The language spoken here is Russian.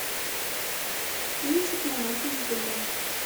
кинчик монахини в бегах